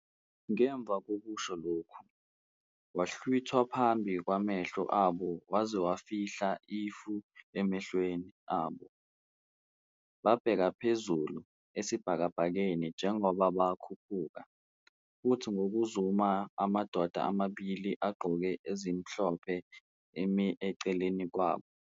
Ngemva kokusho lokhu, wahlwithwa phambi kwamehlo abo waze wafihla ifu emehlweni abo. Babheka phezulu esibhakabhakeni njengoba bekhuphuka, futhi ngokuzumayo amadoda amabili agqoke ezimhlophe emi eceleni kwabo.